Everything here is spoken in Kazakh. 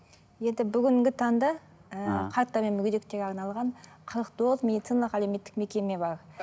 енді бүгінгі таңда ыыы қарттар мен мүгедектерге арналған қырық тоғыз медициналық әлеуметтік мекеме бар